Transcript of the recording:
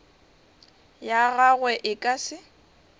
ya gagwe e ka se